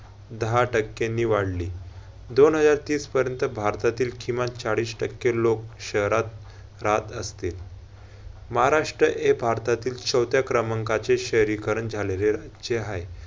दहा टक्क्यांनी वाढली. दोन हजार तीस पर्यंत भारतातील किमान चाळीस टक्के लोक शहरात राहत असतील. महाराष्ट्र हे भारतातील चवथ्या क्रमांकाचे शहरीकरण झालेलेचे हाय.